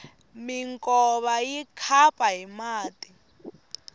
minkova yi khapa hi mati